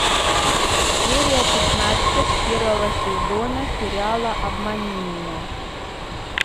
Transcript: серия пятнадцать первого сезона сериала обмани меня